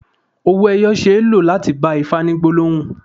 Owó ẹyọ ṣe é lò láti bá Ifá ní gbólóhùn.